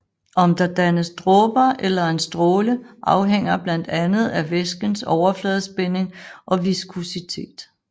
Om der dannes dråber eller en stråle afhænger blandt andet af væskens overfladespænding og viskositet